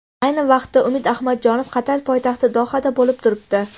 Ayni vaqtda Umid Ahmadjonov Qatar poytaxti Dohada bo‘lib turibdi.